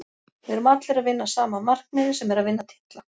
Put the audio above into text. Við erum allir að vinna að sama markmiði sem er að vinna titla.